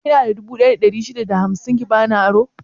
Kina da dubu ɗaya da ɗari shida da hamsin ki bani aro?